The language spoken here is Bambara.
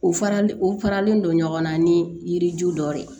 U farali u faralen don ɲɔgɔnna ni yiri ju dɔ de